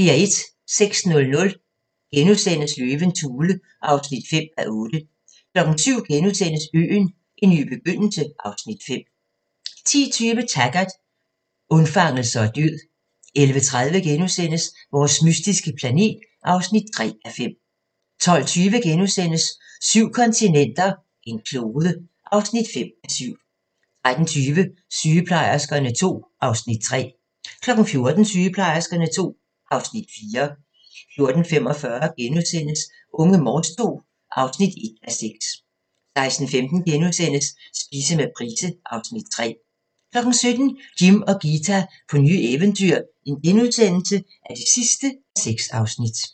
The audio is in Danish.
06:00: Løvens hule (5:8)* 07:00: Øen - en ny begyndelse (Afs. 5)* 10:20: Taggart: Undfangelse og død 11:30: Vores mystiske planet (3:5)* 12:20: Syv kontinenter, en klode (5:7)* 13:20: Sygeplejerskerne II (Afs. 3) 14:00: Sygeplejerskerne II (Afs. 4) 14:45: Unge Morse II (1:6)* 16:15: Spise med Price (Afs. 3)* 17:00: Jim og Ghita på nye eventyr (6:6)*